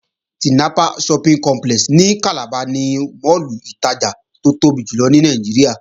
Tinapa Shopping Centre ní Calabar ni máàlù ìtajà tó tóbi jùlọ ní Nàìjíríà